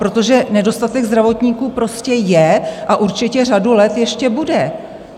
Protože nedostatek zdravotníků prostě je a určitě řadu let ještě bude.